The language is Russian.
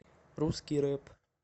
русский рэп